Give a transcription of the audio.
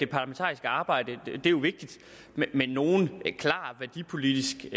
parlamentariske arbejde er jo vigtigt men nogen klar værdipolitisk